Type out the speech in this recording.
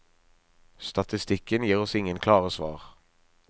Statistikken gir oss ingen klare svar.